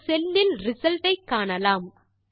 இந்த செல் இல் ரிசல்ட் ஐ காணலாம்